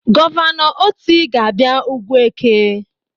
Gọvanọ Otti ga-abịa Ugwueke.